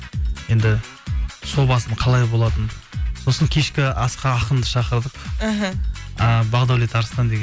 енді қалай болатынын сосын кешкі асқа ақынды шақырдық іхі ы бақдаулет арыстан деген